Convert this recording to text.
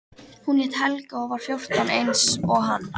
Hún hét Helga og var fjórtán eins og hann.